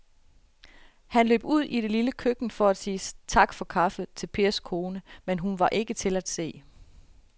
Han løb ud i det lille køkken for at sige tak for kaffe til Pers kone, men hun var ikke til at se.